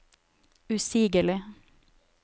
usigelig